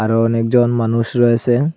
আরো অনেকজন মানুষ রয়েসে।